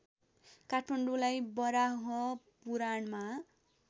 काठमाडौँलाई वराहपुराणमा